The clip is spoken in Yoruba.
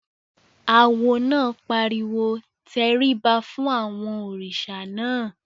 Awo náà pariwo "tẹríba fún àwọn òrìṣà náà!"